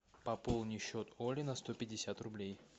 пополни счет оли на сто пятьдесят рублей